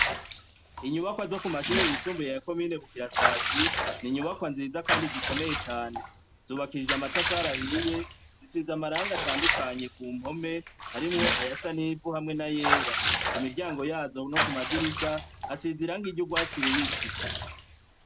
Inyubakwa zo ku mashure yisumbuye yakome yinegukirasazi ni inyubakwa nziza, kandi zikomeye cane zubakishije amatafara ahiye zitsiiza amaranga atandukanye ku mpome, harimwo aya sa n'ivu hamwe na yera ku miryango yazo no ku madirisha asiziranko iryo urwatsi rubisi.